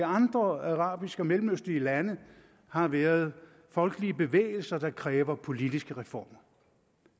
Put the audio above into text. andre arabiske og mellemøstlige lande har været folkelige bevægelser der kræver politiske reformer